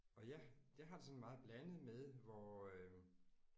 Og jeg jeg har det sådan meget blandet med hvor øh